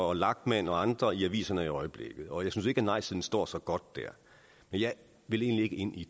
og lachmann og andre i aviserne i øjeblikket og jeg synes ikke nejsiden står så godt der men jeg vil egentlig ikke ind i